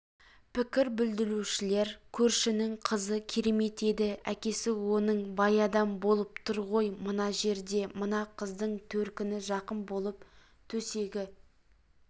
пікір білдірушілер көршінің қызы керемет еді әкесі оның бай адам болып тұр ғой мына жерде мына қыздың төркіні жақын болып төсегі